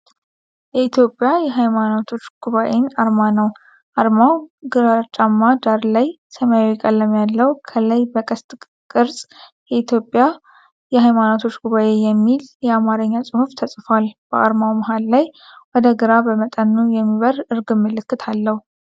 የኢትዮጵያ የሃይማኖቶች ጉባኤን አርማ ነው። አርማው ግራጫማ ዳራ ላይ ሰማያዊ ቀለም ያለው ፣ ከላይ በቅስት ቅርፅ "የኢትዮጵያ የሃይማኖቶች ጉባኤ" የሚል የአማርኛ ጽሑፍ ተጽፏል። በአርማው መሃል ላይ ወደ ግራ በመጠኑ የሚበርር እርግብ ምልክት አለው።